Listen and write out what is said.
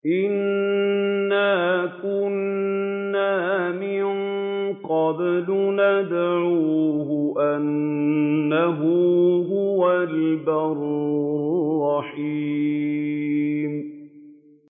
إِنَّا كُنَّا مِن قَبْلُ نَدْعُوهُ ۖ إِنَّهُ هُوَ الْبَرُّ الرَّحِيمُ